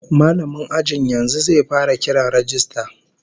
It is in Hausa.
Mallamin ajin yanzu zai fara kiran rajista